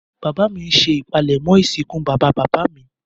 Bàbá mi ńṣe ipálẹ̀mọ́ ìsìnkú bàbá bàbá mi.